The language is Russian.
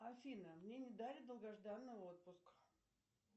афина мне не дали долгожданный отпуск